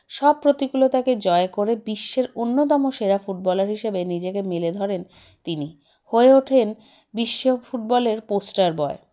সব প্রতিকুলতাকে জয় করে বিশ্বের অন্যতম সেরা footballer হিসেবে নিজেকে মেলে ধরেন তিনি হয়ে ওঠেন বিশ্ব football -এর poster boy